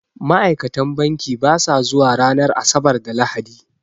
Ma'ikatan banki basa zuwa ranar Asabar da Lahadi